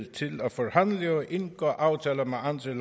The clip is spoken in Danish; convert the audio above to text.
til at forhandle og indgå aftaler med andre